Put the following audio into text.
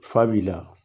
Fa b'i la